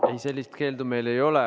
Ei, sellist keeldu meil ei ole.